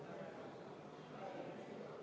Martin Helme, palun!